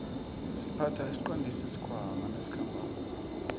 siphatha isiqandisi sikhwaama nasikhambako